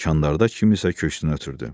Kandarda kimisə köksünə ötürdü.